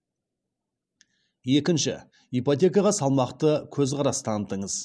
екіншші ипотекаға салмақты көзқарас танытыңыз